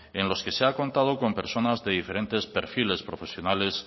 en los que se ha contado con personas de diferentes perfiles profesionales